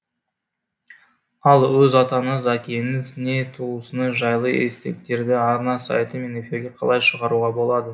ал өз атаңыз әкеңіз не туысыңыз жайлы естеліктерді арна сайты мен эфирге қалай шығаруға болады